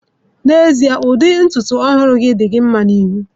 N'ezie, ụdị ntutu ọhụrụ gị di gị nma na ihu.